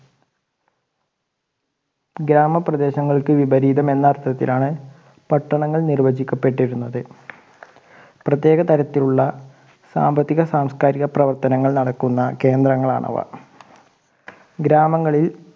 ഗ്രാമ പ്രദേശങ്ങൾക്ക് വിപരീതം എന്ന അർത്ഥത്തിലാണ് പട്ടണങ്ങൾ നിർവ്വചിക്കപ്പെട്ടിരുന്നത് പ്രത്യേക തരത്തിലുള്ള സാമ്പത്തിക സാമസ്കാരിക പ്രവർത്തനങ്ങൾ നടക്കുന്ന കേന്ദ്രങ്ങളാണ് അവ ഗ്രാമങ്ങളിൽ